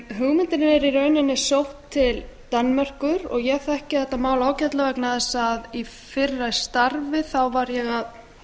hugmyndin er í rauninni sótt til danmerkur og ég þekki þetta mál ágætlega vegna þess að í fyrra starfi var ég að